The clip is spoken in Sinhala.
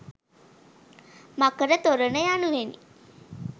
මකර තොරණ යනුවෙනි.